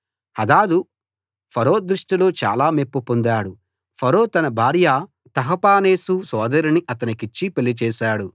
హదదు Pharaoh దృష్టిలో చాలా మెప్పు పొందాడు ఫరో తన భార్య తహపనేసు సోదరిని అతనికిచ్చి పెళ్లి చేసాడు